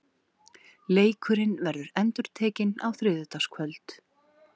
Leikurinn verður endurtekinn á þriðjudagskvöld.